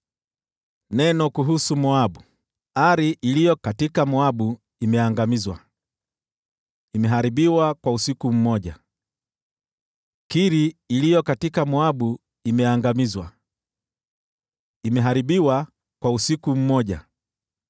Neno kuhusu Moabu: Ari iliyo Moabu imeangamizwa: imeharibiwa kwa usiku mmoja! Kiri iliyo Moabu imeangamizwa, imeharibiwa kwa usiku mmoja!